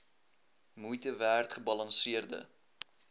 moeite werd gebalanseerde